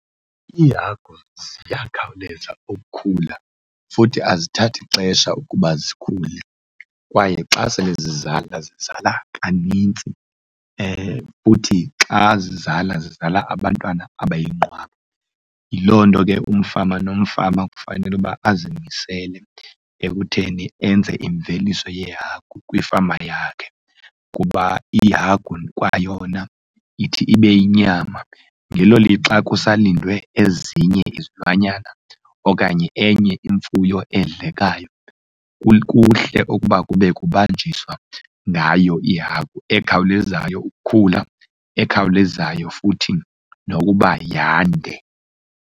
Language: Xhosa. Iihagu ziyakhawuleza ukukhula futhi azithathi ixesha ukuba zikhule. Kwaye xa sele zizala zizala kanintsi futhi xa zizala, zizala abantwana abayinqwaba. Yiloo nto ke umfama nomfama kufanele uba azimisele ekutheni enze imveliso yeehagu kwifama yakhe kuba ihagu kwayona ithi ibe yinyama ngelo lixa kusalindwe ezinye izilwanyana okanye enye imfuyo edlekayo, kuhle ukuba kube kubanjiswa ngayo ihagu ekhawulezayo ukukhula, ekhawulezayo futhi nokuba yande.